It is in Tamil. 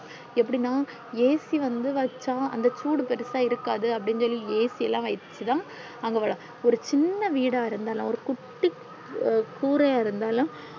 ஏப்டின்னா AC வந்து வச்சா அந்த சூடு பெருசா இருக்காது அப்டி சொல்லி AC ல்லா வச்சி தான் ஒரு சின்ன வீடா இருந்தாலும் ஒரு குட்டி குறையா இருந்தாலும்